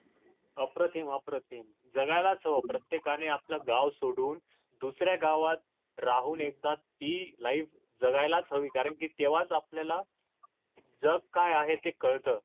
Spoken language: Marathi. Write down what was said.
अप्रतिम अप्रतिम जगायलाच हव प्रत्येकाने आपले गाव सोडून दुसऱ्या गावात राहून एकदा ती life जगायलाच हवी कारण कि तेव्हाच आपल्याला जग काय आहे ते कळत